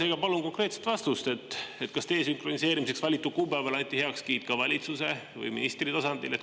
Seega palun konkreetset vastust, kas desünkroniseerimiseks valitud kuupäevale anti heakskiit valitsuse või ministri tasandil?